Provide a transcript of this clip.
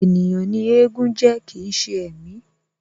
Ènìyàn ni éégún jẹ́ kii ṣe ẹ̀mí